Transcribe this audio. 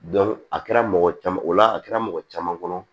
a kɛra mɔgɔ caman ola a kɛra mɔgɔ caman kɔnɔ